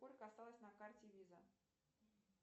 сколько осталось на карте виза